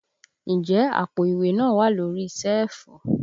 Ǹjẹ́ àpò ìwé náà wà lórí síẹ̀fù?